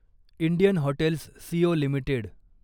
Indian hotels CO limited